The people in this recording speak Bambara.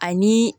Ani